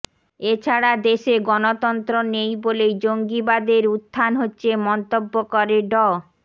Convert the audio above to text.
এ ছাড়া দেশে গণতন্ত্র নেই বলেই জঙ্গিবাদের উত্থান হচ্ছে মন্তব্য করে ড